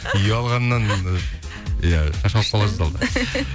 ұялғаннан ы иә